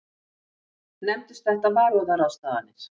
Nefndust þetta varúðarráðstafanir.